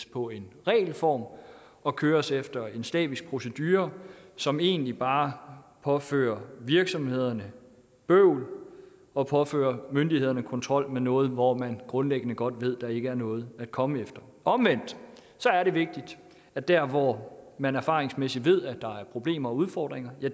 på en regelformular og køres efter en slavisk procedure som egentlig bare påfører virksomhederne bøvl og påfører myndighederne kontrol med noget hvor man grundliggende godt ved der ikke er noget at komme efter omvendt er det vigtigt at der hvor man erfaringsmæssigt ved der er problemer og udfordringer